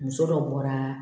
Muso dɔ bɔra